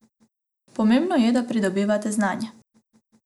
Pomembno je, da pridobivate znanje.